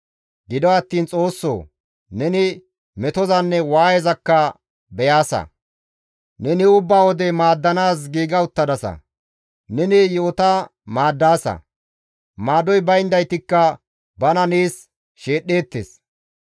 Gido attiin Xoossoo! Neni metozanne waayezakka beyaasa; neni ubba wode maaddanaas giiga uttadasa; neni yi7ota maaddaasa; maadoy bayndaytikka bana nees sheedhdheettes.